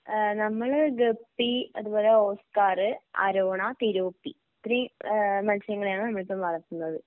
ഏഹ് നമ്മള് ഗപ്പി അതുപോലെ oscar arowana tilapia ഇത്രയും ഏഹ് മത്സ്യങ്ങളെയാണ് നമ്മളിപ്പം വളർത്തുന്നത്.